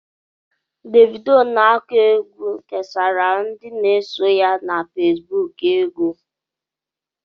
Davidoo n'aku égwu kesara ndị n'eso ya na Fesbụụk ego.